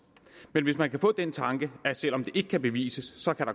men hvis man kan få den tanke at der selv om det ikke kan bevises